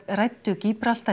ræddu